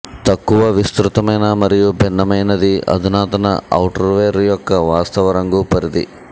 తక్కువ విస్తృతమైన మరియు భిన్నమైనది అధునాతన ఔటర్వేర్ యొక్క వాస్తవ రంగు పరిధి